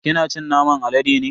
Kina cin naman alade ne?